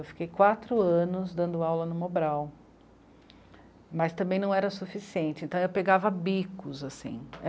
Eu fiquei quatro anos dando aula no Mobral, mas também não era suficiente, então eu pegava bicos, assim.